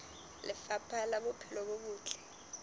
lefapha la bophelo bo botle